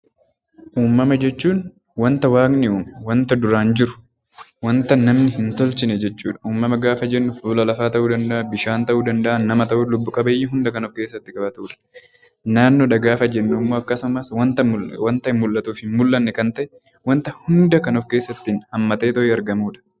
Uummama jechuun wanta waaqni uume wanta duraan jiru wanta namni hin tolchine jechuudha. Uummama jechuun fuula lafaa, nama, bishaan fi lubbu qabeeyyii hunda kan of keessatti qabatudha. Naannoo jechuun immoo wanta ijaan mul'atuu fi hin mul'anne wanta hundumaa of keessatti haammataudha